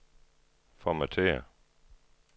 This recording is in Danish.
formatér